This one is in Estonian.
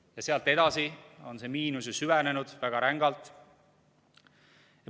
Ja sealt edasi on see miinus ju süvenenud väga rängalt.